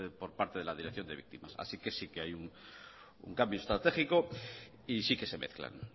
por parte de la dirección de víctimas así que sí que hay un cambio estratégico y sí que se mezclan